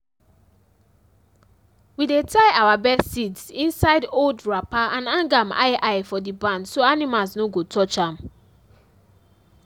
we dey tie our best seeds inside old wrapper and hang am high high for the barn so animals no go touch am.